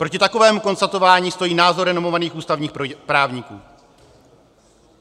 Proti takovému konstatování stojí názor renomovaných ústavních právníků.